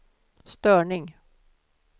störning